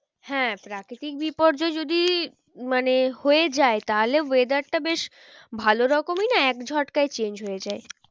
হ্যাঁ প্রাকৃতিক বিপর্যয় যদি মানে হয়ে যায় তাহলে weather টা বেশ ভালো রকমই না এক ঝটকায় change হয়ে যায়